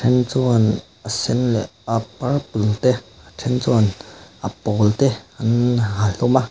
then chuan a sen leh a purple te then chuan a pawl te an ha hlawm a.